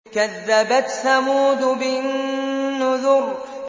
كَذَّبَتْ ثَمُودُ بِالنُّذُرِ